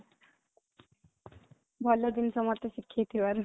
ଭଲ ଜିନିଷ ମତେ ଶିଖେଇଥିବାରୁ